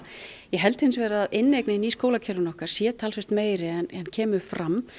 ég held hins vegar að inneignin í skólakerfinu okkar sé talsvert meiri en kemur fram